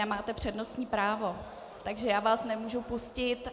Nemáte přednostní právo, takže já vás nemohu pustit.